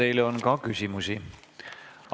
Teile on ka küsimusi.